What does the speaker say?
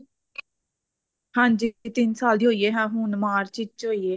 ਹਾਂਜੀ ਇਹ ਤਿੰਨ ਸਾਲ ਦੀ ਹੋਈ ਐ ਹਾਂ ਹੁਣ ਮਾਰਚ ਵਿੱਚ ਹੋਈ ਐ